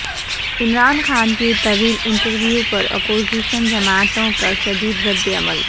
عمران خان کے طویل انٹرویو پر اپوزیشن جماعتوں کا شدید ردعمل